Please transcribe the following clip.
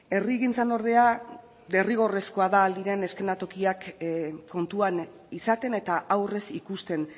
herrigintzan ordea derrigorrezkoa da ahal diren eszenatokiak kontuan izaten eta aurrez ikusten